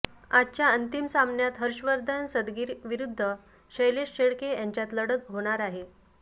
आजच्या अंतिम सामन्यात हर्षवर्धन सदगीर विरुद्ध शैलेश शेळके यांच्यात लढत होणार आहे